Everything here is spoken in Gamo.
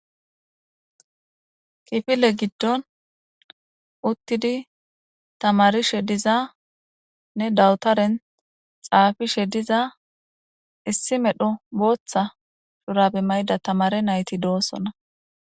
Kifile giddon uttidi tamarishe dizanne dawutaren xaafishe diza issi medho booththa shurabe mayda tamare nayti doosonna.